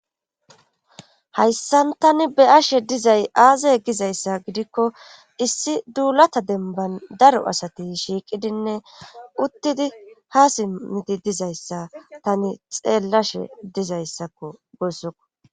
hayssan tani beyashe dizay aazay gizayssa gidikko issi duulata denban daro asati shiiqidinne uttidi haa simiti dizayssa tani xeellashe dizayssakko gossokko